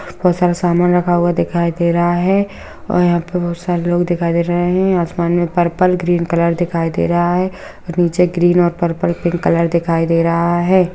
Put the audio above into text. बहुत सारा सामान रखा हुआ दिखाई दे रहा है और यहाँ पे बहुत सारे लोग दिखाई दे रहे हैं | आसमान में पर्पल ग्रीन कलर दिखाई दे रहा है और नीचे ग्रीन और पर्पल पिंक कलर दिखाई दे रहा है।